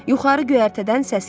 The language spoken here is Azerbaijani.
Yuxarı göyərtədən səs gəldi.